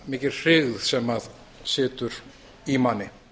mikil hryggð sem situr í manni